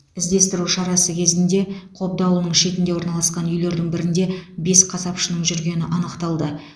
іздестіру шарасы кезінде қобда ауылының шетінде орналасқан үйлердің бірінде бес қасапшының жүргені анықталды